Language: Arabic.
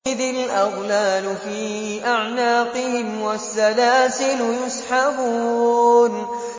إِذِ الْأَغْلَالُ فِي أَعْنَاقِهِمْ وَالسَّلَاسِلُ يُسْحَبُونَ